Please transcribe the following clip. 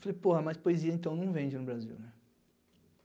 Falei, porra, mas poesia então não vende no Brasil, né?